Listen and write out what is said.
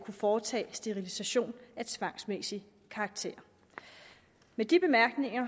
foretage sterilisation af tvangsmæssig karakter med de bemærkninger